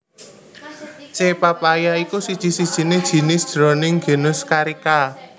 C papaya iku siji sijiné jinis jroning genus Carica